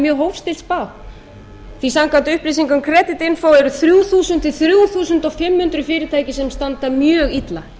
mjög hófstillt spá því samkvæmt upplýsingum kreditspá eru þrjú þúsund til þrjú þúsund fimm hundruð fyrirtæki sem standa mjög illa